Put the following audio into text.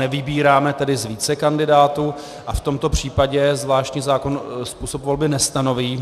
Nevybíráme tedy z více kandidátů, a v tomto případě zvláštní zákon způsob volby nestanoví.